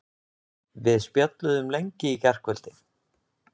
Við spjölluðum lengi í gærkvöldi.